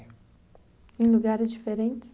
Em lugares diferentes?